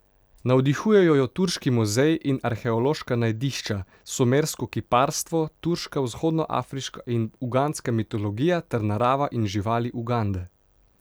Navdihujejo jo turški muzeji in arheološka najdišča, sumersko kiparstvo, turška, vzhodnoafriška in ugandska mitologija ter narava in živali Ugande.